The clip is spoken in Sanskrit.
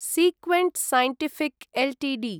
Sequent Scientific Ltd